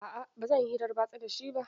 A a ba zan yi hirar batsa da shi ba.